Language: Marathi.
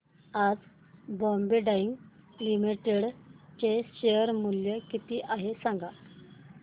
आज बॉम्बे डाईंग लिमिटेड चे शेअर मूल्य किती आहे सांगा